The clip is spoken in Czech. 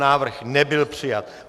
Návrh nebyl přijat.